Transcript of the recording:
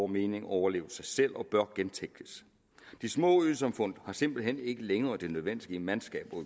mening overlevet sig selv og bør gentænkes de små øsamfund har simpelt hen ikke længere det nødvendige mandskab og